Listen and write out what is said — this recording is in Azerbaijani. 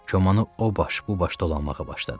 Komanı o baş, bu baş dolanmağa başladı.